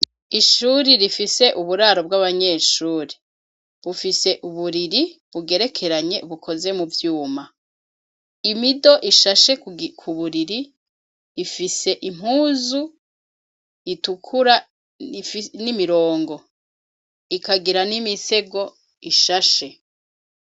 Ishuri rifise uburaro bw'abanyeshuri, bufise uburiri bugerekeranye bukoze muvyuma ,imido ishashe kuburiri, ifise impuzu itukura n'imirongo ikagira n'imisego ishashe.